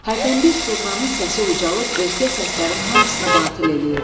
Hərdənbir zurnanın səsi ucalıb özgə səslərin hamısını batil eləyirdi.